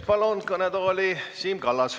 Palun kõnetooli Siim Kallase.